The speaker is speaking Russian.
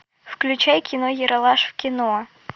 включай кино ералаш в кино